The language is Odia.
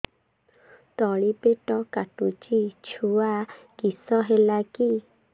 ତଳିପେଟ କାଟୁଚି ଛୁଆ କିଶ ହେଲା କି